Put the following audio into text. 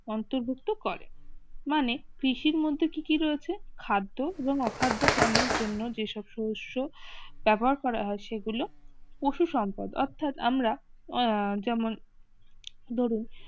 অন্তর্ভুক্ত করে মানে কৃষির মধ্যে কি কি রয়েছে খাদ্য এবং খাদ্য পণ্যের জন্য যেসব সদস্য ব্যবহার করা হয় সেগুলো পশু সম্পদ অর্থাৎ আমরা যেমন ধরুন